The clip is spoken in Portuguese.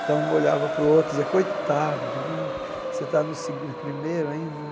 Então, um olhava para o outro e dizia, coitado né, você está no segu primeiro ainda.